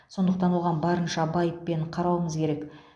сондықтан оған барынша байыппен қарауымыз керек